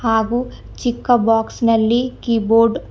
ಹಾಗೂ ಚಿಕ್ಕ ಬಾಕ್ಸ್ ನಲ್ಲಿ ಕೀಬೋರ್ಡ್ --